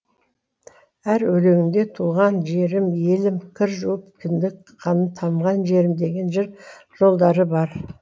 әр өлеңінде туған жерім елім кір жуып кіндік қаным танған жерім деген жыр жолдары бар